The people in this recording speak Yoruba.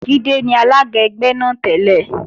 Jídé ni alága ẹgbẹ́ náà tẹ́lẹ̀